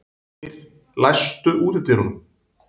Leiknir, læstu útidyrunum.